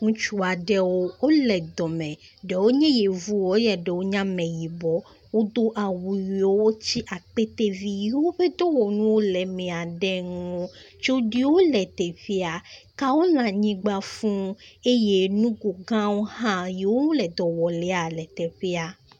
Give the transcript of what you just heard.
Ŋutsu aɖewo wo le dɔ me. Ɖewo nye yevuwo eye ɖewo nye ameyibɔ. Wodo awu yiwo wotsi akpetevi yi woƒe dɔwɔnuwo le emea ɖe ŋu. tsoɖuiwo le teƒea. Kawo le anyigba fuu eye nugo gãwo hã yiwo wo le dɔ wɔ lea le teƒea.